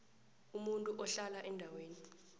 umuntu uhlala endaweni